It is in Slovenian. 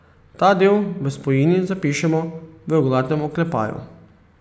Ta del v spojini zapišemo v oglatem oklepaju.